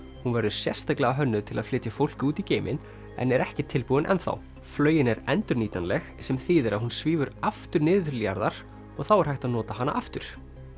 hún verður sérstaklega hönnuð til að flytja fólk út í geiminn en er ekki tilbúin ennþá flaugin er endurnýtanleg sem þýðir að hún svífur aftur niður til jarðar og þá er hægt að nota hana aftur